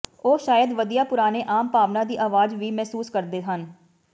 ਉਹ ਸ਼ਾਇਦ ਵਧੀਆ ਪੁਰਾਣੇ ਆਮ ਭਾਵਨਾ ਦੀ ਆਵਾਜ਼ ਵੀ ਮਹਿਸੂਸ ਕਰਦੇ ਹਨ